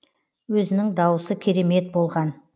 өзінің дауысы керемет болған